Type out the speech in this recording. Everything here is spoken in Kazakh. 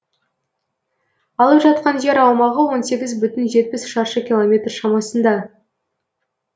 алып жатқан жер аумағы он сегіз бүтін жетпіс шаршы километр шамасында